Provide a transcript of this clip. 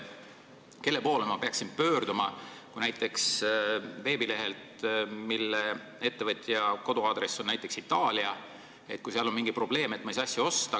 Kelle poole ma peaksin pöörduma, kui ettevõttel on näiteks Itaalia aadress ja kui veebilehel on mingi probleem, et ma ei saa asja osta?